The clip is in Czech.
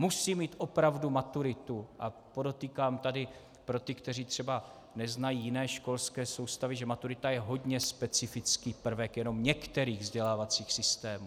Musí mít opravdu maturitu - a podotýkám tady pro ty, kteří třeba neznají jiné školské soustavy, že maturita je hodně specifický prvek jenom některých vzdělávacích systémů.